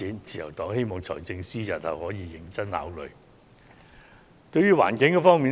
自由黨希望財政司司長日後可認真考慮這項建議。